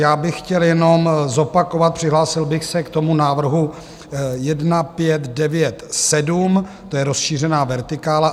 Já bych chtěl jenom zopakovat, přihlásil bych se k tomu návrhu 1597, to je rozšířená vertikála.